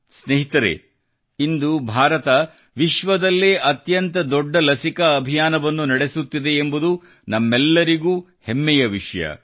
ಸ್ನೇಹಿತರೆ ಇಂದು ಭಾರತ ವಿಶ್ವದಲ್ಲೇ ಅತ್ಯಂತ ದೊಡ್ಡ ಲಸಿಕಾ ಅಭಿಯಾನವನ್ನು ನಡೆಸುತ್ತಿದೆ ಎಂಬುದು ನಮಗೆಲ್ಲರಿಗೂ ಹೆಮ್ಮೆಯ ವಿಷಯ